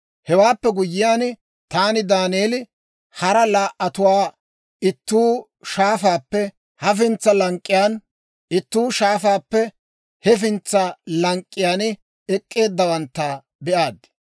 Hewaappe guyyiyaan, taani Daaneeli, hara laa"atuwaa, ittuu shaafaappe hafintsa lank'k'iyaan, ittuu shaafaappe hefintsa lank'k'iyaan ek'k'eeddawantta be'aad.